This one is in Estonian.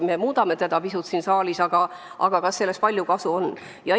Me muudame teda pisut siin saalis, aga kas sellest ka suurt kasu on?